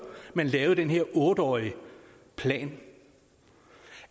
man lavede den her otte årige plan